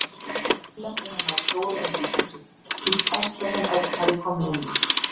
Lúlli átti heima í stóru einbýlishúsi, því stærsta sem Örn hafði komið inn í.